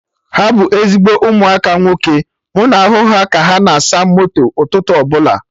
Ha bụ ezigbo ụmụaka nwoke, m na ahụ ka ha na asa moto ụtụtụ ọbụla